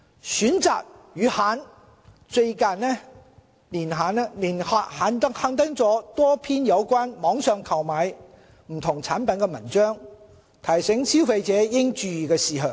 《選擇》月刊近年刊登多篇有關網上購買不同產品的文章，提醒消費者應注意的事項。